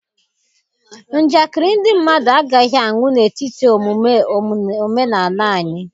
Njakịrị ndị mmadụ agaghị anwụ n'etiti omume omenala anyị.